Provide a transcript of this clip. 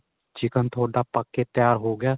chicken ਤੁਹਾਡਾ ਪੱਕ ਕੇ ਤਿਆਰ ਹੋ ਗਿਆ